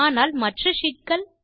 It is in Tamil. ஆனால் மற்ற ஷீட் கள்